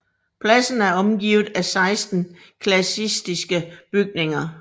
Pladsen er omgivet af 16 klassicistiske bygninger